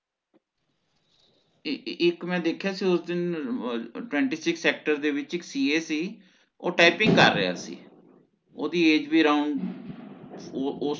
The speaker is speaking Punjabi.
ਈ ਈ ਇਕ ਮੈਂ ਦੇਖਿਆ ਸੀ ਉਸ ਦਿਨ twenty six sector ਦੇ ਵਿੱਚ ਇਕ CA ਸੀ ਓਹ typing ਕਰ ਰਿਹਾ ਸੀ ਓਹਦੀ Age ਵੀ Around ਓ ਓ